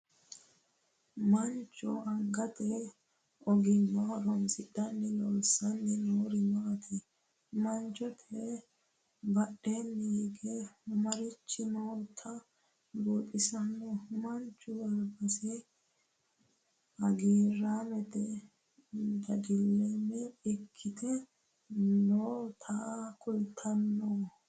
Macho angate ogimma horoonsidhe loosanni noori maati? Manchote badheenni hige marichi noota buuxisano? Mancho albase hagiiraametenso dadilaame ikite nootta kultanno?